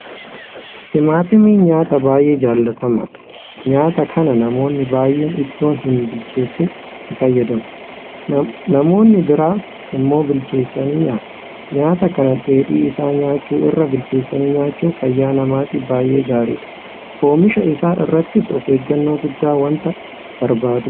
Timaatimiin nyaata baay'ee jaalatamaadha. Nyaata kana namoonni baay'een itoo hinbilcheessin itti fayyadamu. Namoonni biraa immoo bilcheessanii nyaatu. Nyaata kana dheedhii isaa nyaachuu irra bilcheessanii nyaachuun fayyaa namaatiif baay'ee gaariidha. Oomisha isaa irrattis ofeeggannoo guddaa waanta barbaadudha.